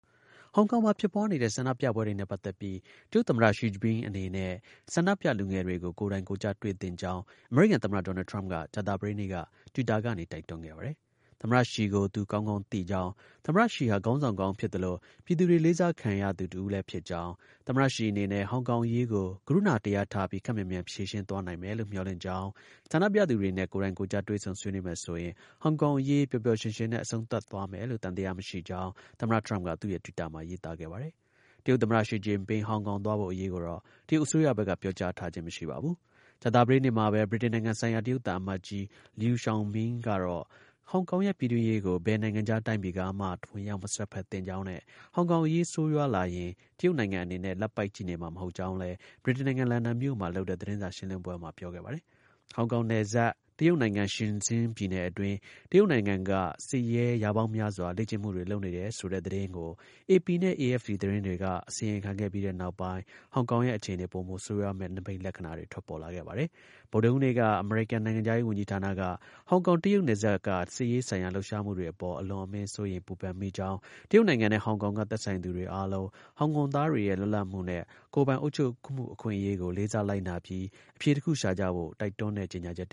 ဟောင်ကောင်မှာ ဖြစ်ပွားနေတဲ့ ဆန္ဒပြပွဲတွေနဲ့ ပတ်သက်ပြီး တရုတ်သမ္မတ Xi Jinping အနေနဲ့ ဆန္ဒပြလူငယ်တွေကို ကိုယ်တိုင်ကိုယ်ကျ တွေ့သင့်ကြောင်း အမေရိကန် သမ္မတ ဒေါ်နယ်ထရမ့်က ကြာသပတေးနေ့က တွစ်တာကနေ တိုက်တွန်းခဲ့ပါတယ်။ သမ္မတ ရှီကို သူ ကောင်းကောင်း သိကြောင်း၊ သမ္မတ ရှီဟာ ခေါင်းဆောင်ကောင်းဖြစ်သလို ပြည်သူတွေ လေးစားခံ သူတစ်ဦးဖြစ်ကြောင်း၊ သမ္မတ ရှီအနေနဲ့ ဟောင်ကောင်အရေးကို ကရုဏာတရားထားပြီး ခပ်မြန်မြန် ဖြေရှင်းသွားနိုင်မယ်လို့ မျှော်လင့်ကြောင်း၊ ဆန္ဒပြသူတွေနဲ့ ကိုယ်တိုင်ကိုယ်ကျ တွေ့ဆုံဆွေးနွေးမယ် ဆိုရင် ဟောင်ကောင်အရေး ပျော်ပျော်ရွှင်ရွှင်နဲ့ အဆုံးသတ်သွားမယ်ဆိုတာ သံသယ မရှိကြောင်း သမ္မတ ထရမ့်က သူ့ရဲ့ တွစ်တာမှာ ရေးသား ခဲ့ပါတယ်။တရုတ် သမ္မတ ရှီဂျင်ပင်း ဟောင်ကောင် သွားဖို့အရေးကိုတော့ တရုတ်အစိုးရဘက်က ပြောကြားထားခြင်း မရှိပါဘူး။ ကြာသပတေးနေ့မှာပဲ ဗြိတိန်နိုင်ငံဆိုင်ရာ တရုတ် သံအမတ်ကြီး Liu Xiaoming ကတော့ ဟောင်ကောင်ရဲ့ ပြည်တွင်းရေးကို ဘယ်နိုင်ငံခြား တိုင်းပြည်ကမှ ဝင်ရောက် မစွက်ဖက်သင့်ကြောင်းနဲ့ ဟောင်ကောင် အရေးဆိုးရွားလာရင် တရုတ်နိုင်ငံအနေနဲ့ လက်ပိုက် ကြည်နေ့မှာ မဟုတ်ကြောင်းလည်း ဗြိတိန်နိုင်ငံ လန်ဒန်မြို့မှာ လုပ်တဲ့ သတင်းစာ ရှင်းလင်းပွဲမှာ ပြောပါတယ်။ ဟောင်ကောင်နယ်စပ် တရုတ်နိုင်ငံ ရှင်ဇင်း ပြည်နယ်အတွင်း တရုတ်နိုင်ငံက စစ်ရဲ ရာပေါင်းများစွာ လေ့ကျင့်မှုတွေ လုပ်နေတဲ့ဆိုတဲ့ သတင်း ကို အေပီနဲ့ အေအက်ဖ်ပီ သတင်းတွေက အစီရင်ခံပြီးနောက်ပိုင်း ဟောင်ကောင်ရဲ့ အခြေအနေ ပိုမို ဆိုးရွားမယ့် နိမိတ်လက္ခဏာတွေ ထွက်ပေါ်လာခဲ့ပါတယ်။ ဗုဒ္ဒဟူးနေ့က အမေရိကန် နိုင်ငံခြားရေးဝန်ကြီးဌာနက ဟောင်ကောင်-တရုတ်နယ်စပ်က စစ်ရေးဆိုင်ရာလှုပ်ရှားမှုတွေအပေါ် အလွန်အမင်း စိုးရိမ်ပူပန်မိကြောင်း၊ တရုတ်နိုင်ငံ နဲ့ ဟောင်ကောင်က သက်ဆိုင်သူအားလုံး ဟောင်ကောင်သားတွေရဲ့ လွတ်လပ်မှုနဲ့ ကိုယ်ပိုင် အုပ်ချုပ်မှု အခွင့်အရေးကို လေးစား လိုက်နာ ပြီး အဖြေ တစ်ခု ရှာကြဖို့ တိုက်တွန်းတဲ့ ကြေညာချက်တ